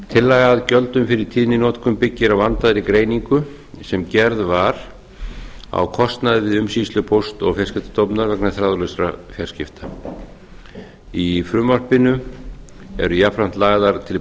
tillaga að gjöldum fyrir tíðninotkun byggir á vandaðri greiningu sem gerð var á kostnaði við umsýslu póst og fjarskiptastofnunar vegna þráðlausra fjarskipta í frumvarpinu eru jafnframt lagðar til